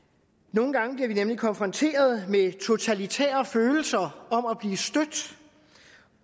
nogle gange bliver vi nemlig konfronteret med totalitære følelser